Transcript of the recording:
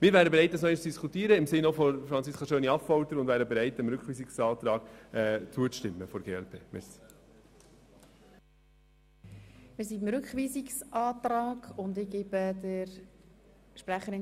Wir wären bereit, im Sinne des Antrags von Franziska Schöni-Affolter nochmals über diese Frage zu diskutieren und dem Rückweisungsantrag der glp zuzustimmen.